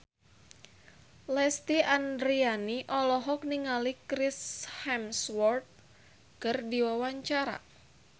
Lesti Andryani olohok ningali Chris Hemsworth keur diwawancara